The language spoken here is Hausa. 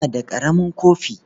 Muna da ƙaramin kofi.